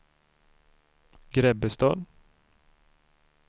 Grebbestad